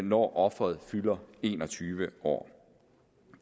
når offeret fylder en og tyve år